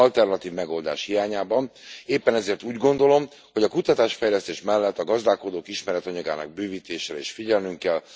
Alternatív megoldás hiányában éppen ezért úgy gondolom, hogy a kutatás fejlesztés mellett a gazdálkodók ismeretanyagának bővítésére is figyelnünk kell.